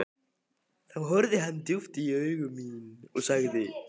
Þá horfði hann djúpt í augu mín og sagði